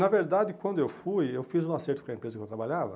Na verdade, quando eu fui, eu fiz um acerto com a empresa que eu trabalhava.